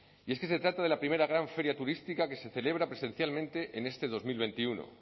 y es que se trata de la primera gran feria turística que se celebra presencialmente en este dos mil veintiuno